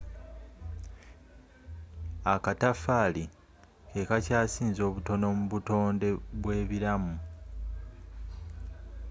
akataffaali ke kakyasinze obutono mu butonde bw'ebiramu